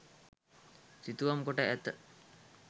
සිතුවම් කොට ඇත.